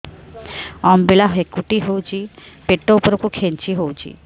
ଅମ୍ବିଳା ହେକୁଟୀ ହେଉଛି ପେଟ ଉପରକୁ ଖେଞ୍ଚି ହଉଚି